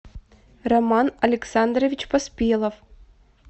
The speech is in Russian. роман александрович поспелов